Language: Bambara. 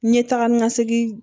N ye taga ni ka segin